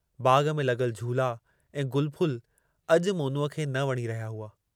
बाग़ में लॻल झूला ऐं गुलफुल अॼु मोनूअ खे न वणी रहिया हुआ।